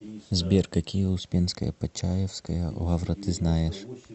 сбер какие успенская почаевская лавра ты знаешь